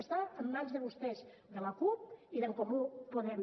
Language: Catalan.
està en mans de vostès de la cup i d’en comú podem